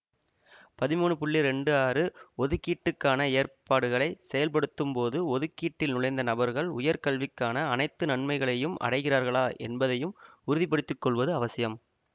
பதிமூன்னு புள்ளி ரெண்டு ஆறு ஒதுக்கீட்டுக்கான ஏற்பாடுகளை செயல்படுத்தும் போது ஒதுக்கீட்டில் நுழைந்த நபர்கள் உயர்கல்விக்கான அனைத்து நன்மைகளையும் அடைகிறார்களா என்பதையும் உறுதிபடுத்திக் கொள்வதும் அவசியம்